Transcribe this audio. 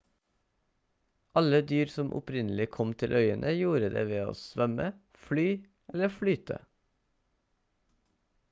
alle dyr som opprinnelig kom til øyene gjorde det ved å svømme fly eller flyte